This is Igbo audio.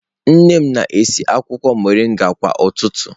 Nne m na-esi akwụkwọ mọrịnga kwa ụtụtụ